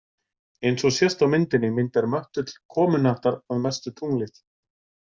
Eins og sést á myndinni myndar möttull komuhnattar að mestu tunglið.